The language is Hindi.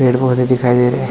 पेड़-पौधे दिखाई दे रहें है।